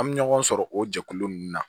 An bɛ ɲɔgɔn sɔrɔ o jɛkulu ninnu na